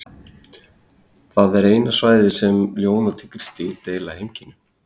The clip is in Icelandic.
það er eina svæðið þar sem ljón og tígrisdýr deila heimkynnum